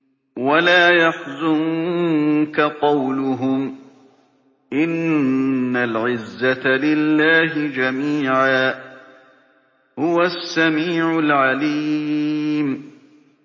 وَلَا يَحْزُنكَ قَوْلُهُمْ ۘ إِنَّ الْعِزَّةَ لِلَّهِ جَمِيعًا ۚ هُوَ السَّمِيعُ الْعَلِيمُ